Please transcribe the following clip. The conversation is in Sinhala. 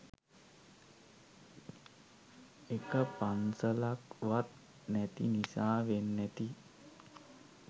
එක පන්සලක් වත් නැති නිසා වෙන්නැති